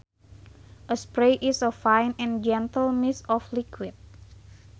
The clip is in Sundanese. A spray is a fine and gentle mist of liquid